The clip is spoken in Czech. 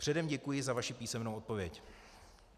Předem děkuji za vaši písemnou odpověď.